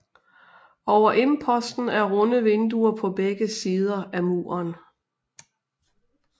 Over imposten er runde vinduer på begge sider af muren